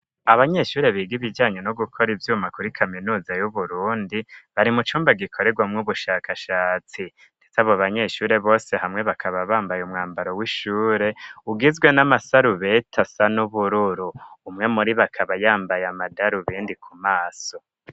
Abanyeshure biga ibijanye no gukora ivyuma kuri kaminuza y'uburundi bari mu cumba gikorerwa mw'ubushakashatsi ndetse abo banyeshure bose hamwe bakaba bambaye umwambaro w'ishure ugizwe n'amasarubeti asa n'ubururu umwe muri bakaba yambaye amadaru bindi ku maso.